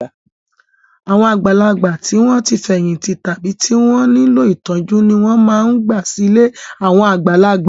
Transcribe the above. Àwọn àgbàlagbà tí wọ́n ti fẹ̀yìntì tàbí tí wọ́n nílò ìtọ́jú ni wọ́n máa ń gbà sí ilé àwọn àgbàlagbà.